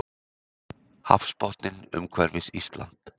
Hafsbotninn umhverfis Ísland.